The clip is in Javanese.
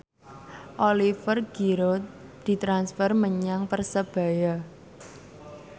Oliver Giroud ditransfer menyang Persebaya